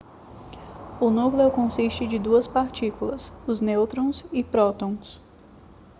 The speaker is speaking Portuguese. o núcleo consiste de duas partículas os nêutrons e prótons